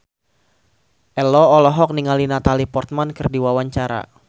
Ello olohok ningali Natalie Portman keur diwawancara